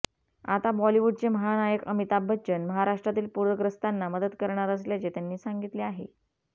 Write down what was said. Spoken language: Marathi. आता बॉलिवूडचे महानायक अमिताभ बच्चन महाराष्ट्रातील पुरग्रस्तांना मदत करणार असल्याचे त्यांनी सांगितले आहे